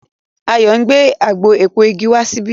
Ayo ngbé àgbò èpo ìgi wá síbí.